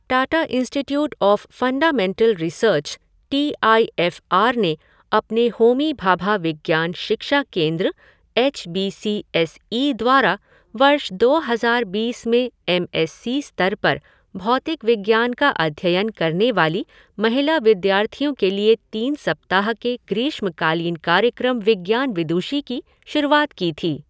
Tata institute of fundamental research T I F R ने अपने होमी भाभा विज्ञान शिक्षा केंद्र H B C S E द्वारा वर्ष दो हज़ार बीस में एम एस सी स्तर पर भौतिक विज्ञान का अध्ययन करने वाली महिला विद्यार्थियो के लिए तीन सप्ताह के ग्रीष्मकालीन कार्यक्रम विज्ञान विदूषी की शुरूआत की थी।